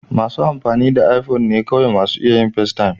Masu amfani da iPhone ne kawai masu iya yin festaym.